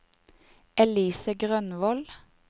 Elise Grønvold